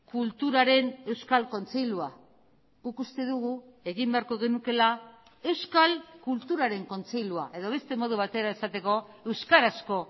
kulturaren euskal kontseilua guk uste dugu egin beharko genukeela euskal kulturaren kontseilua edo beste modu batera esateko euskarazko